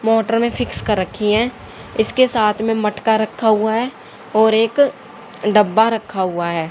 Motor में fix कर रखी है इसके साथ में मटका रखा हुआ है और एक डब्बा रखा हुआ है।